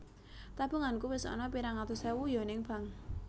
Tabunganku wis ana pirang atus ewu yo ning Bank